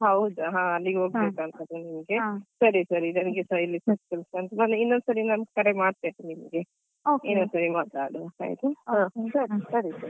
ಹೌದಾ ಹಾ ಅಲ್ಲಿಗೆ ಹೋಗ್ಬೇಕಾಗ್ತದಾ ಅಂತ ಅಲ ಸರಿ ಸರಿ ನನಗೆ ಸ ಇನ್ನೊಂದ್ಸರಿ ನಾನ್ ಕರೆ ಮಾಡ್ತೇನೆ ನಿಮ್ಗೆ ಇನ್ನೊಂದ್ಸರಿ ಮಾತಾಡುವ.